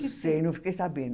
Não sei, não fiquei sabendo.